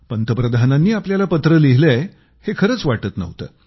पंतप्रधानांनी आपल्याला पत्र लिहिलंय हे खरंच वाटत नव्हतं